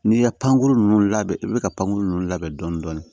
N'i ye pankuru ninnu labɛn i bɛ ka pankuru ninnu labɛn dɔɔnin dɔɔnin